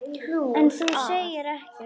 En þú segir ekkert.